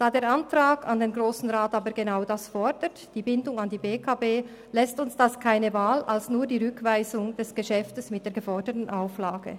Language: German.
Da der Antrag an den Grossen Rat aber genau das fordert – nämlich die Bindung an die BEKB –, lässt uns das keine Wahl ausser der Rückweisung des Geschäfts mit der geforderten Auflage.